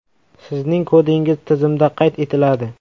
Sizning kodingiz tizimda qayd etiladi.